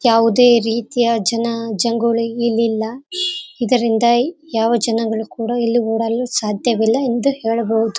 ಆಟ ಆಡಬಹುದು ಮಕ್ಕಬಹುದು ಏನಾದರು ಮಾಡಬಹುದು ಅಲ್ಲಿ ಗಡ್ ಗಡ್ ಗಾಳಿ ಬಿಡ್ತೀರ್ತವ ಗಿಡಗಳು ಚನಾಗಿರ್ತದ.